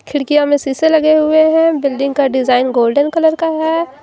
खिड़कियां में शीशे लगे हुए हैं बिल्डिंग का डिजाइन गोल्डन कलर का है।